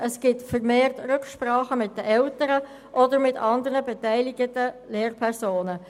es kommt vermehrt zu Rücksprachen mit den Eltern oder mit anderen beteiligten Lehrpersonen.